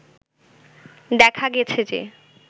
দেখা গেছে যে